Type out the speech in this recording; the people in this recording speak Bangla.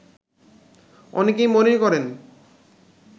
অনেকেই মনে করেন